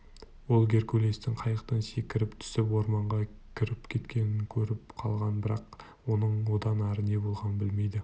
ол геркулестің қайықтан секіріп түсіп орманға кіріп кеткенін көріп қалған бірақ оның одан ары не болғанын білмейтін